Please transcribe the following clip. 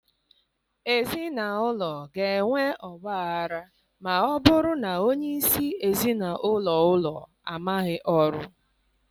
Ezi n'ụlọ ga-enwe ọgbaghara ma ọ bụrụ na onye isi ezi n'ụlọ ụlọ amaghị ọrụ.